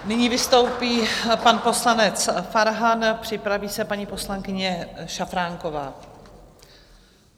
Nyní vystoupí pan poslanec Farhan, připraví se paní poslankyně Šafránková.